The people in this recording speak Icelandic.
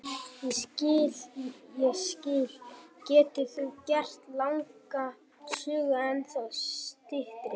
Ég skil, ég skil, getur þú gert langa sögu ennþá styttri?